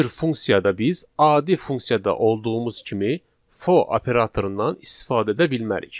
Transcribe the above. Bu cür funksiyada biz adi funksiyada olduğumuz kimi fo operatorundan istifadə edə bilmərik.